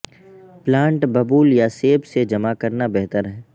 plant ببول یا سیب سے جمع کرنا بہتر ہے